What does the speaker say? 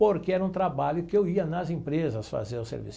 Porque era um trabalho que eu ia nas empresas fazer o serviço.